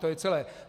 To je celé.